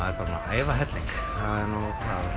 æfa helling